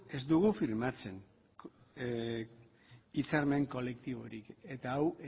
ez dugu firmatzen hitzarmen kolektiborik eta hau